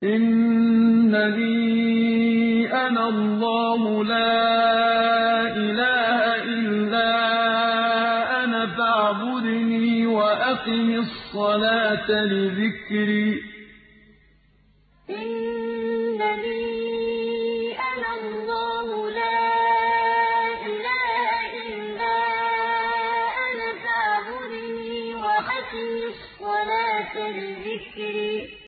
إِنَّنِي أَنَا اللَّهُ لَا إِلَٰهَ إِلَّا أَنَا فَاعْبُدْنِي وَأَقِمِ الصَّلَاةَ لِذِكْرِي إِنَّنِي أَنَا اللَّهُ لَا إِلَٰهَ إِلَّا أَنَا فَاعْبُدْنِي وَأَقِمِ الصَّلَاةَ لِذِكْرِي